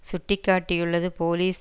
சுட்டி காட்டியுள்ளது போலிஸ்